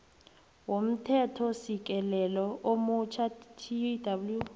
womthethosisekelo omutjha tw